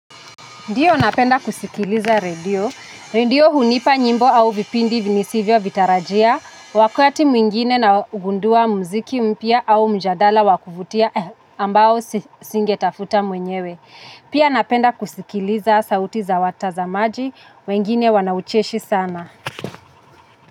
Ndiyo napenda kusikiliza redio, redio ndiyo hunipa nyimbo au vipindi nisivyovitarajia, wakati mwingine naugundua muziki mpya au mjadala wa kuvutia ambao singetafuta mwenyewe. Pia napenda kusikiliza sauti za watazamaji, wengine wanaucheshi sana.